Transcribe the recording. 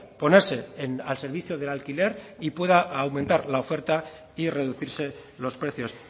ponerse al servicio del alquiler y pueda aumentar la oferta y reducirse los precios